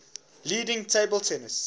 leading table tennis